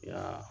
Ya